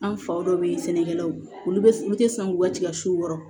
An faw dɔw bɛ yen sɛnɛkɛlaw olu bɛ u tɛ sɔn k'u ka tigasiw wɔrɔ